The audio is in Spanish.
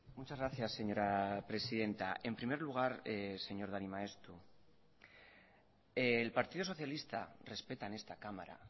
muchas gracias señora presidenta en primer lugar señor dani maeztu el partido socialista respeta en esta cámara